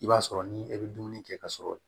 I b'a sɔrɔ ni e bɛ dumuni kɛ ka sɔrɔ